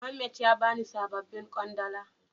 Muhammed ya bani sabobin kwandala.